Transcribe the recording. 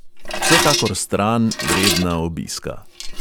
Vsekakor stran vredna obiska.